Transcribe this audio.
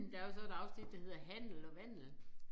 Der jo så et afsnit der hedder Handel og vandel